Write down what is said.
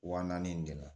Wa naani nin de la